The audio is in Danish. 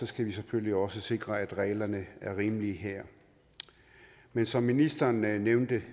skal vi selvfølgelig også sikre at reglerne er rimelige her men som ministeren nævnte